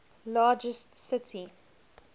largest city